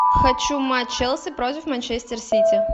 хочу матч челси против манчестер сити